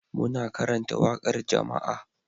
Muna karanta waƙar jama'a